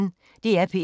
DR P1